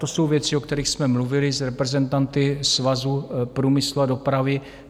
To jsou věci, o kterých jsme mluvili s reprezentanty Svazu průmyslu a dopravy.